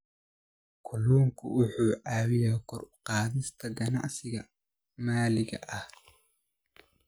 Kalluunku wuxuu caawiyaa kor u qaadista ganacsiyada maxalliga ah.